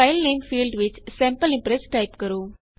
filename field ਵਿੱਚ sample impress type ਕਰੋ